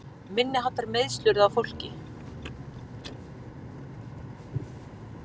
Minniháttar meiðsli urðu á fólki